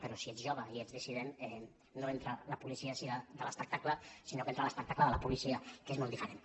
però si ets jove i ets dissident no entra la policia de l’espectacle sinó que entra l’espectacle de la policia que és molt diferent